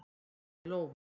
Lína í lófa